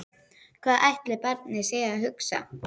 Blóðið lagaði úr nefinu á henni.